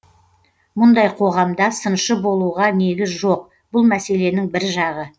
мұндай қоғамда сыншы болуға негіз жоқ бұл мәселенің бір жағы